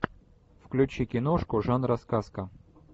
включи киношку жанра сказка